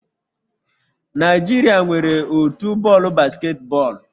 Naijiria nwere otu bọọlụ basketball